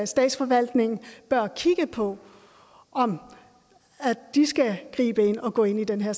statsforvaltningen bør kigge på om de skal gribe ind og gå ind i den her